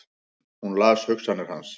Hún las hugsanir hans!